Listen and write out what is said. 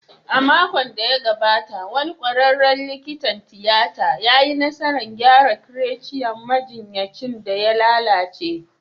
A makon da ya gabata, wani kwararen likitan tiyata ya yi nasarar gyara trachea majinyacin da ya lalace